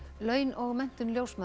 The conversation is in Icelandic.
laun og menntun ljósmæðra